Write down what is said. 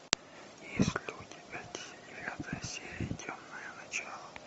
есть ли у тебя девятая серия темные начала